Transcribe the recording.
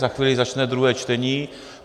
Za chvíli začne druhé čtení.